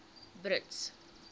brits